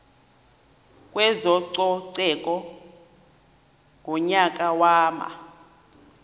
kwezococeko ngonyaka wama